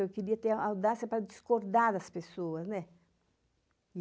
Eu queria ter audácia para discordar das pessoas, ne.